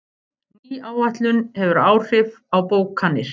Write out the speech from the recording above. Ný áætlun hefur áhrif á bókanir